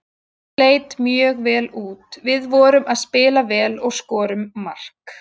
Þetta leit mjög vel út, við vorum að spila vel og skorum mark.